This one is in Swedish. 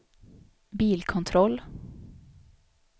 bilkontroll